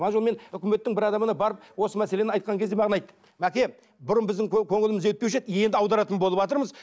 ана жолы мен өкіметтің бір адамына барып осы мәселені айтқан кезде маған айтты мәке бұрын біздің көңіліміз жетпеуші еді енді аударатын болыватырмыз